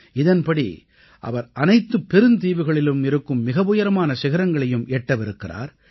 இதன்படி அவர் அனைத்துப் பெருந்தீவுகளிலும் இருக்கும் மிக உயரமான சிகரங்களையும் எட்டவிருக்கிறார்